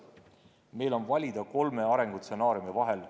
Meil on valida kolme arengustsenaariumi vahel.